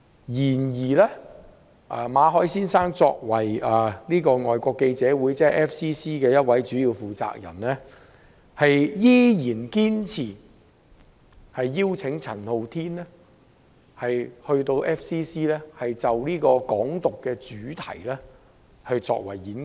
然而，馬凱先生作為香港外國記者會的主要負責人之一，在8月依然堅持邀請陳浩天到 FCC 就"港獨"作演講。